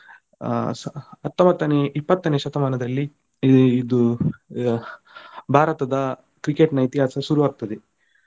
ಅಹ್ ಹತ್ತೊಂಬತ್ತನೇ ಇಪ್ಪತ್ತನೇ ಶತಮಾನದಲ್ಲಿ ಇದು ಭಾರತದ Cricket ನ ಇತಿಹಾಸ ಶುರು ಆಗ್ತದೆ.